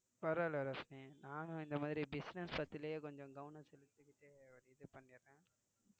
பரவாயில்லை ரோஷிணி நானும் இந்த மாதிரி business circle லேயே கொஞ்சம் கவனம் செலுத்திக்கிட்டு இது பண்ணிடறேன்